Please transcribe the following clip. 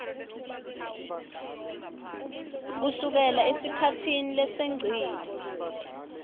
kusukela esikhatsini lesengcile